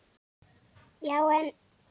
Já, en.